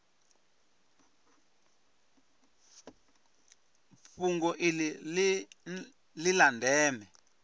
fhungo iḽi ḽi ḽa ndeme